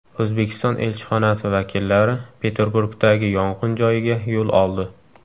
O‘zbekiston elchixonasi vakillari Peterburgdagi yong‘in joyiga yo‘l oldi .